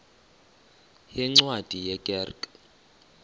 yeencwadi ye kerk